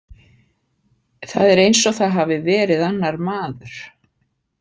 Það er eins og það hafi verið annar maður.